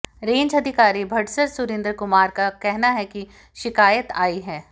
range अधिकारी बड़सर सुरिंद्र कुमार का कहना है कि शिकायत आई है